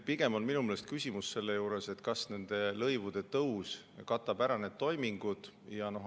Pigem on minu meelest selle juures küsimus, kas nende lõivude tõus katab ära need toimingud.